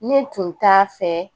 Ne tun t'a fɛ